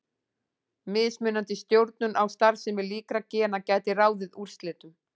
Mismunandi stjórnun á starfsemi líkra gena gæti ráðið úrslitum.